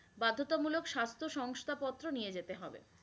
বাধ্যতামূলক স্বাস্থ্য সংস্থা পত্র নিয়ে যেতে হবে